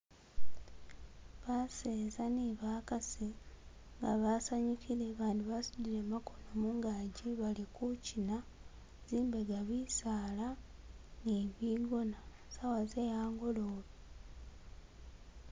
Baseza ne bakasi nga basanyukile, abandi basutile makono mungaji bali kuchina, zimbega bisaala ni bigona, sawa ze angolobe.